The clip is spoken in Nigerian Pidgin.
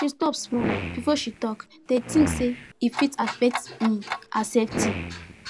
she stop small before she talk dey think say e fit affect um her safety